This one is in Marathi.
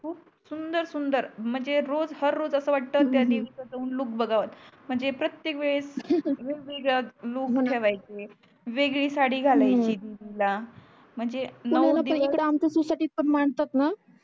सुंदर सुंदर म्हणजे रोज हर रोज अस हम्म वाटत त्या देवीच जाऊन अस लुक बगाव म्हणजे प्रतेक वेळेस वेगवेगळ लुक बनून ठेवयाचे वेगळी साडी हो हो घाल्याची तिला म्हणजे नऊ दिवस पुण्याला आमच्या इकडे तिवसयात येवड मानतात णा